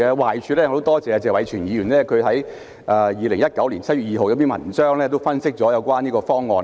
壞處方面，我很多謝謝偉銓議員在2019年7月2日的一篇文章分析了這個方案。